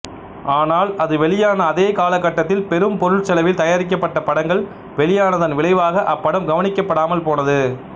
ஆனால் அது வெளியான அதே காலகட்டத்தில் பெரும் பொருட்செலவில் தயாரிக்கபட்ட படங்கள் வெளியானதன் விளைவாக அப்படம் கவனிக்கப்படாமல் போனது